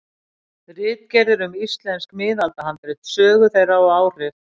Ritgerðir um íslensk miðaldahandrit, sögu þeirra og áhrif.